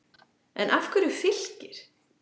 En af hverju Fylkir?